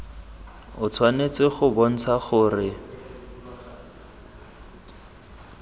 o tshwanetse go bontsha gore